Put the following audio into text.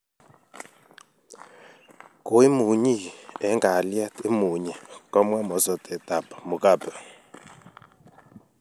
"Kooimunyii eng' kaalyeet�imuunyi" Komwaa mosortet ap mugabe